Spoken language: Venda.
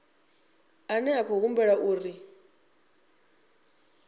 ane a khou humbulelwa uri